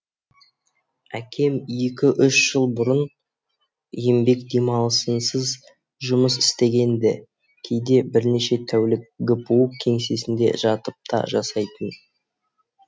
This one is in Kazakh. әкем екі үш жыл бұрын еңбек демалысынсыз жұмыс істеген ді кейде бірнеше тәулік гпу кеңсесінде жатып та жасайтын